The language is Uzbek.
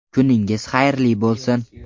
Kuningiz xayrli bo‘lsin.